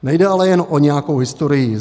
Nejde ale jen o nějakou historii.